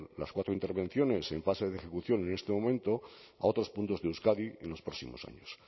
las cuatro intervenciones en fase de ejecución en este momento a otros puntos de euskadi en los próximos años